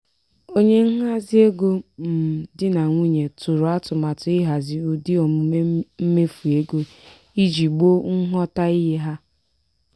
onye nhazi ego um di na nwunye tụrụ atụmatụ ihazi ụdị omume mmefu ego iji gboo nghọtahie ha.